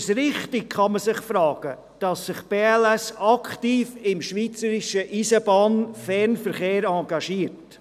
Man kann sich fragen, ob es richtig ist, dass sich die BLS aktiv im schweizerischen Eisenbahnfernverkehr engagiert.